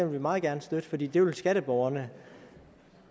vi meget gerne støtte for det det vil skatteborgerne